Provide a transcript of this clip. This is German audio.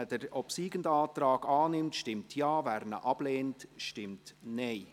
Wer den obsiegenden Antrag annimmt, stimmt Ja, wer diesen ablehnt, stimmt Nein.